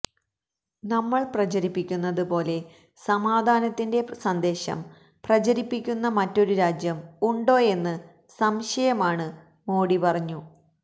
നമ്മള് പ്രചരിപ്പിക്കുന്നത് പോലെ സമാധാനത്തിന്റെ സന്ദേശം പ്രചരിപ്പിക്കുന്ന മറ്റൊരു രാജ്യം ഉണ്ടോയെന്ന് സംശയമാണ് മോഡി പറഞ്ഞു